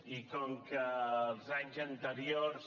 i com que els anys anteriors